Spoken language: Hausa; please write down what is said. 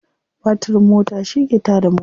Batirin mota shi ke ta da mota.